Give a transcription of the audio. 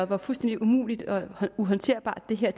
hvor fuldstændig umuligt og uhåndterbart det her